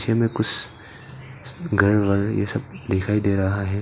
घर वर ये सब दिखाई दे रहा है।